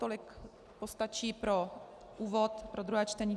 Tolik postačí pro úvod pro druhé čtení.